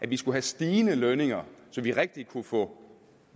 vi så have stigende lønninger så vi rigtig kunne få